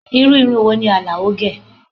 Irú irun wo ni Alao gẹ?